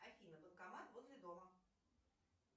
афина банкомат возле дома